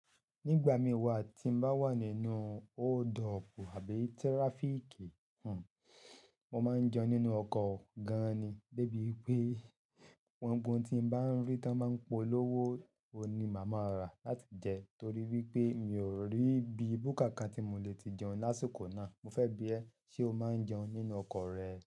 Nígbà mí wá tí n bá wà nínú hold up àbí traffic, mo máa ń jẹun nínú ọkọ̀ gan ni. De bí wipé ohun tí n bá rí tí wọ́n ba ń polówó oun ni màá máa rà láti jẹ torí wípé mi ò rí ibi bùkà kan tí mo lè ti jẹun lásìkò náà. Mo fẹ́ bí ẹ ṣe o máa ń jẹun nínú ọkọ̀ rẹ?